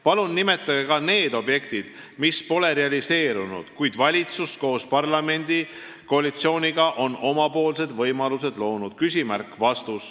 Palun nimetage ka need objektid, mis pole realiseerunud, kuid valitsus koos parlamendikoalitsiooniga on omapoolsed võimalused loonud.